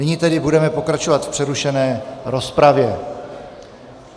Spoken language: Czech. Nyní tedy budeme pokračovat v přerušené rozpravě.